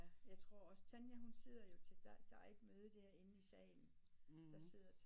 Jeg tror også Tanja hun sidder jo til der der er ikke møde derinde i salen